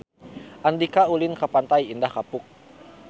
Andika ulin ka Pantai Indah Kapuk